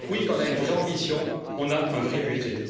Donc, oui, quand on a une vraie ambition, on a un vrai budget.